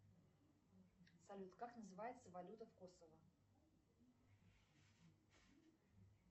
салют как называется валюта в косово